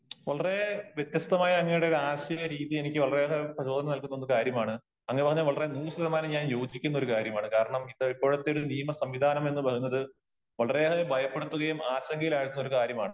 വളരെ വ്യത്യസ്തമായ അങ്ങയുടെ ഒരു ആശയ രീതി എനിക്ക് വളരെ ഏറെ പ്രചോദനം നല്കുന്ന ഒരു കാര്യമാണ്. അങ്ങ് പറഞ്ഞ വളരെ നൂറ് ശതമാനം ഞാൻ യോജിക്കുന്ന ഒരു കാര്യമാണ് . കാരണം ഇപ്പോഴത്തെ ഒരു നിയമസംവിധാനം എന്ന് പറയുന്നത് വളരെ ഏറെ ഭയപ്പെടുത്തുകയും ആശങ്കയിലാക്കുന്ന ഒരു കാര്യമാണ് .